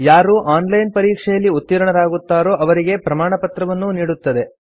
ಯಾರು online ಪರೀಕ್ಷೆಯಲ್ಲಿ ಉತ್ತೀರ್ಣರಾಗುತ್ತಾರೋ ಅವರಿಗೆ ಪ್ರಮಾಣಪತ್ರವನ್ನೂ ನೀಡುತ್ತದೆ